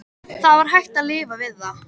Það var hægt að lifa við það.